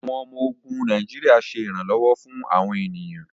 Awọn ọmọ-ogun Nàìjíríà ṣe iranlọwọ fún awọn ènìyàn